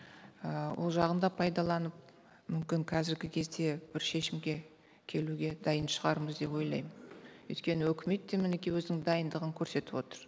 ы ол жағын да пайдаланып мүмкін қазіргі кезде бір шешімге келуге дайын шығармыз деп ойлаймын өйткені өкімет те мінекей өзінің дайындығын көрсетіп отыр